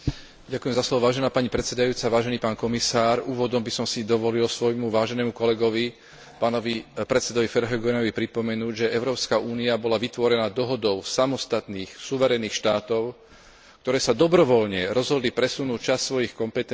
Úvodom by som si dovolil môjmu váženému kolegovi, pánovi podpredsedovi Verheugenovi pripomenúť, že Európska únia bola vytvorená dohodou samostatných suverénnych štátov, ktoré sa dobrovoľne rozhodli presunúť časť svojich kompetencií na novú inštitúciu Európsku úniu,